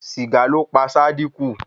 Sìgá ló pa Sádíkù.